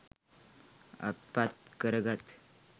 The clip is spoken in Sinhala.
අත් පත් කරගත්